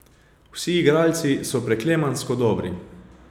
Vsi igralci so preklemansko dobri.